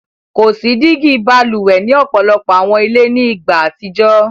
Ko si digi bálúwè ni ọpọlọpọ̀ awọn ilẹ̀ ni igba atijọ.